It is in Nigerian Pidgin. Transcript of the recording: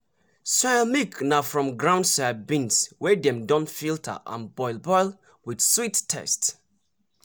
soya milk na from ground soya beans wey dem don filter and boil boil with sweet taste.